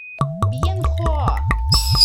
бьенхоа